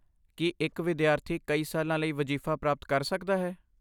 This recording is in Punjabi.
ਕੀ ਇੱਕ ਵਿਦਿਆਰਥੀ ਕਈ ਸਾਲਾਂ ਲਈ ਵਜ਼ੀਫ਼ਾ ਪ੍ਰਾਪਤ ਕਰ ਸਕਦਾ ਹੈ?